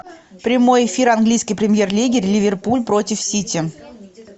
прямой эфир английской премьер лиги ливерпуль против сити